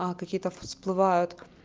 а какие-то всплывают